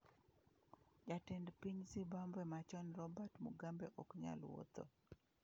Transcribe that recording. Jatend piny Zimbabwe machon Robert Mugabe ‘ok nyal wuotho’.